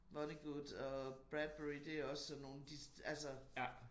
Vonnegut og Bradbury det også sådan nogle de altså